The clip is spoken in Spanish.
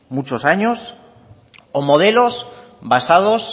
muchos años o modelos basados